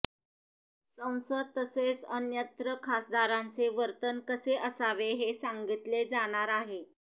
संसद तसेच अन्यत्र खासदारांचे वर्तन कसे असावे हे सांगितले जाणार आहे